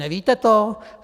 Nevíte to?